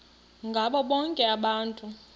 ngabo bonke abantu